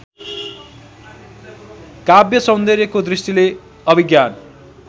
काव्यसौन्दर्यको दृष्टिले अभिज्ञान